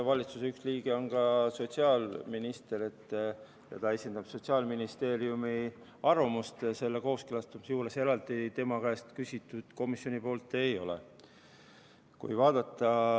Valitsuse üks liige on ka sotsiaalminister, ta esindab Sotsiaalministeeriumi arvamust selle kooskõlastamise juures, eraldi tema käest komisjon küsinud ei ole.